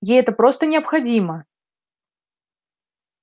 ей это просто необходимо